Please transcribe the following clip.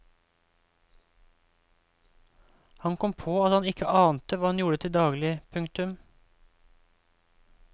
Han kom på at han ikke ante hva hun gjorde til daglig. punktum